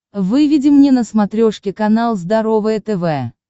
выведи мне на смотрешке канал здоровое тв